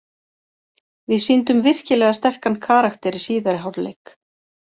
Við sýndum virkilega sterkan karakter í síðari hálfleik.